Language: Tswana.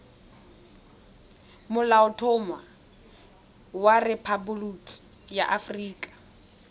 molaotlhomo wa rephaboliki ya aforika